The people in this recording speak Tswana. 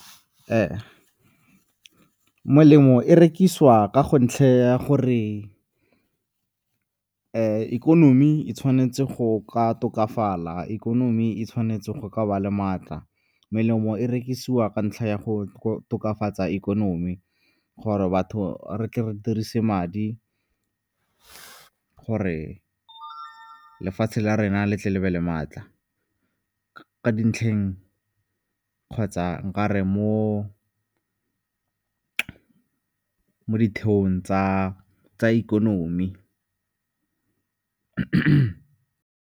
Melemo e rekisiwa ka go ntlha ya gore ikonomi e tshwanetse go ka tokafala, ikonomi e tshwanetse go ka ba le maatla. Melemo e rekisiwa ka ntlha ya go tokafatsa ikonomi gore batho re tle re dirise madi gore lefatshe le ga rena le tle le be le maatla, ka dintlheng kgotsa nka re mo ditheong tsa ikonomi.